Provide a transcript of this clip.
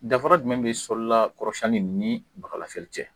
Danfafara jumɛn bɛ kɔrɔlasɛni ni baga lafiyɛli cɛ?